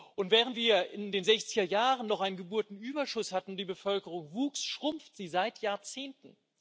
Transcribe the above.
Und während wir in den 60er Jahren noch einen Geburtenüberschuss hatten und die Bevölkerung wuchs, schrumpft sie seit Jahrzehnten.